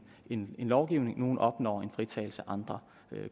en lovgivning nogle opnår en fritagelse andre